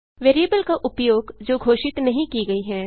variable का उपयोग जो घोषित नहीं की गई हैं